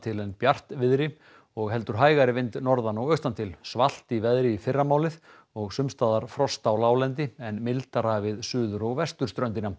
en bjartviðri og heldur hægari vind norðan og austantil svalt í veðri í fyrramálið og sums staðar frost á láglendi en mildara við suður og vesturströndina